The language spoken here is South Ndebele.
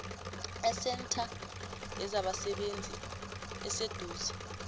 esentha yezabasebenzi eseduze